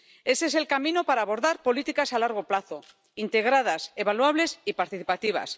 Ese es el camino para abordar políticas a largo plazo, integradas, evaluables y participativas.